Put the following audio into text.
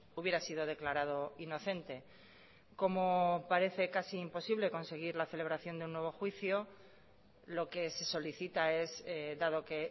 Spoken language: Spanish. hubiera sido declarado inocente como parece casi imposible conseguir la celebración de un nuevo juicio lo que se solicita es dado que